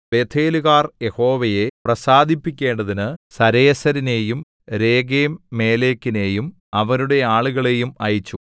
ബേഥേലുകാർ യഹോവയെ പ്രസാദിപ്പിക്കേണ്ടതിന് സരേസരിനെയും രേഗെംമേലെക്കിനെയും അവരുടെ ആളുകളെയും അയച്ചു